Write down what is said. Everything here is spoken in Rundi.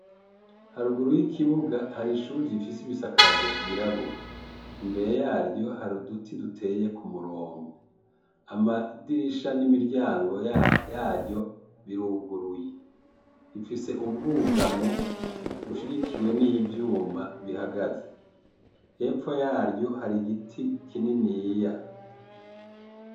Haruguru y'ikibuga hari ishuri rifise ibisakazo vyirabura imbere yaryo hari uduti duteye kumurongo amadirisha n'imiryango yaryo biruguruye bifise ubwugamo bishigikiwe n'ivyuma bihagaze hepfo yaryo har'igiti kininiya.